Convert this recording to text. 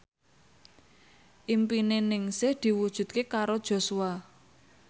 impine Ningsih diwujudke karo Joshua